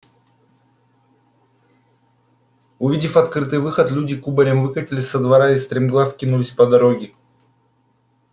увидев открытый выход люди кубарем выкатились со двора и стремглав кинулись по дороге